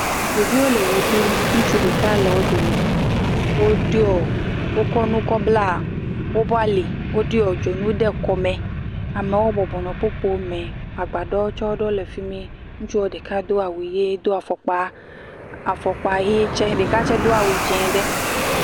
Ɖeviwo le woɖu. Ŋutsu ɖeka le wo dome. Wokɔ nu kɔ bla wobo ali. Woɖiɔ dzonu ɖe kɔme. Amewo bɔbɔ nɔ kpukpo me. Agbaɖɔ ɖewo tsɛ wole fi mi. Ŋutsuɔ ɖeka do awu yee do afɔkpa yee tsɛ. Ɖeka tsɛ do awu dzẽe ɖe.